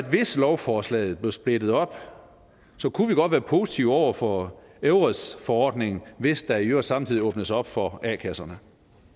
at hvis lovforslaget blev splittet op kunne vi godt være positive over for eures forordningen hvis der i øvrigt samtidig åbnes op for a kasserne